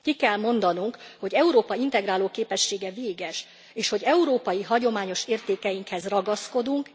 Ki kell mondanunk, hogy Európa integráló képessége véges, és hogy európai hagyományos értékeinkhez ragaszkodunk.